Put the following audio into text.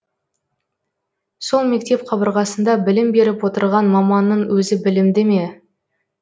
сол мектеп қабырғасында білім беріп отырған маманның өзі білімді ме